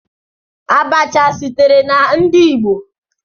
Abacha sitere na ndi igbo.